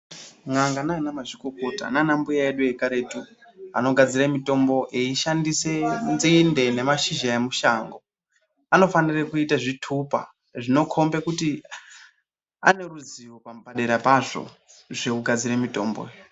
N'anga nanamazvikokota nana mbuya edu ekaretu anogadzira mushonga eishandisa nzinde ngemashizha emushango. Anofanira kuita zvitupa zvinokombedza kuti aneruzivo padera pazvo zvekugadzira mutombo.